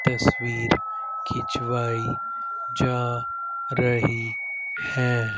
तस्वीर खिंचवाई जा रही है।